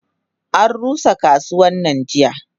Anrusa kasuwannan jiya.